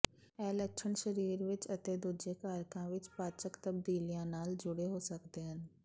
ਇਹ ਲੱਛਣ ਸਰੀਰ ਵਿਚ ਅਤੇ ਦੂਜੇ ਕਾਰਕਾਂ ਵਿਚ ਪਾਚਕ ਤਬਦੀਲੀਆਂ ਨਾਲ ਜੁੜੇ ਹੋ ਸਕਦੇ ਹਨ